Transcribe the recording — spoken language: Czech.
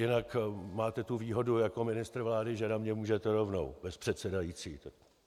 Jinak máte tu výhodu jako ministr vlády, že na mě můžete rovnou bez předsedající.